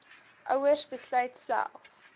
ouers besluit self